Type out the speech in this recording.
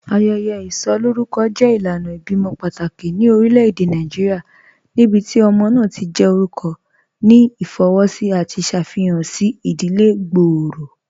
Ayẹyẹ isọkọ jẹ ilànà ibẹ̀imọ̀ pátákì ní orílẹ̀-èdè Nàìjíríà níbíti ọmọ náà ti jẹ́ orúkọ̀ ní ifowósì àti ṣáfíhàn sí ìdílẹ̀ gbọ́ọ̀rọ̀.